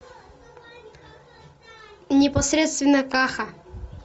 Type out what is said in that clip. непосредственно каха